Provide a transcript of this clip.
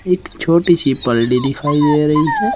एक छोटी सी बल्ली दिखाई दे रही है।